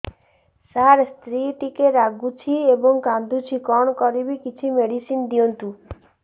ସାର ସ୍ତ୍ରୀ ଟିକେ ରାଗୁଛି ଏବଂ କାନ୍ଦୁଛି କଣ କରିବି କିଛି ମେଡିସିନ ଦିଅନ୍ତୁ